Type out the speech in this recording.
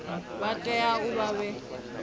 vha tea u vha vhe